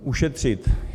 Ušetřit.